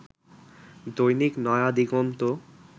দৈনিক নয়া দিগন্ত